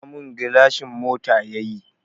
Fasa mun gilashin mota yayi